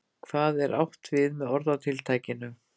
Hvað er átt við með orðatiltækinu?